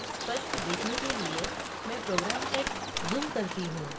स्पष्ट देखने के लिए मैं program text zoom करती हूँ